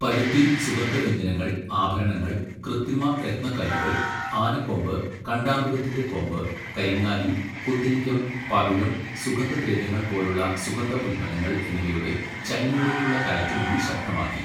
പരുത്തി, സുഗന്ധവ്യഞ്ജനങ്ങൾ, ആഭരണങ്ങൾ, കൃത്രിമരത്നക്കല്ലുകൾ, ആനക്കൊമ്പ്, കാണ്ടാമൃഗത്തിൻ്റെ കൊമ്പ്, കരിങ്ങാലി, കുന്തിരിക്കം, പവിഴം, സുഗന്ധദ്രവ്യങ്ങൾ പോലുള്ള സുഗന്ധ ഉൽപ്പന്നങ്ങൾ എന്നിവയുടെ ചൈനയിലേക്കുള്ള കയറ്റുമതി ശക്തമാക്കി.